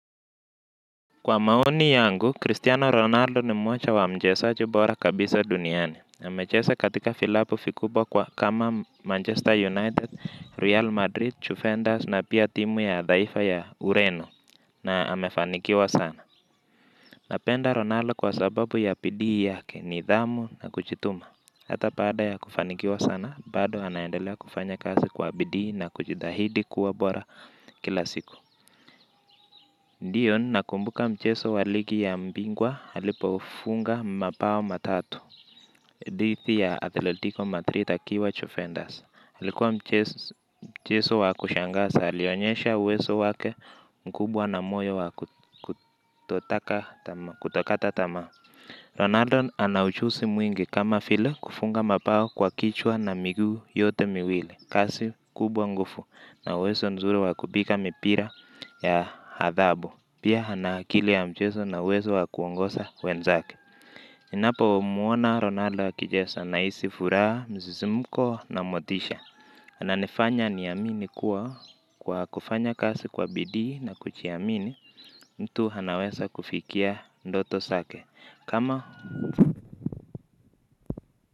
Kwa maoni yangu, Cristiano Ronaldo ni mmocha wa mchesaji bora kabisa duniani. Amechesa katika filabu fikubwa kwa kama Manchester United, Real Madrid, Chufenders na pia timu ya dhaifa ya Ureno na amefanikiwa sana. Napenda Ronaldo kwa sababu ya pidii yake nidhamu na kuchituma. Hata paada ya kufanikiwa sana, bado anaendelea kufanya kasi kwa pidii na kuchithahidi kuwa bora kila siku. Dion nakumbuka mcheso waligi ya mbingwa alipofunga mapao matatu dithi ya Athletico Madrid akiwa chofenders. Alikuwa mcheso wa kushangasa alionyesha uweso wake mkubwa na moyo wa kutokata tamaa Ronaldo anaujusi mwingi kama file kufunga mapao kwa kichwa na miguu yote miwili. Kasi kubwa ngufu na uwezo nzuri wa kubika mipira ya hadhabu. Pia hana akili ya mcheso na uwezo wa kuongosa wenzake. Ninapo muona Ronaldo akijesa na isi furaha mzizimuko na motisha ananifanya niamini kuwa kwa kufanya kasi kwa bidii na kuchiamini. Mtu hanaweza kufikia ndoto sake. Kama.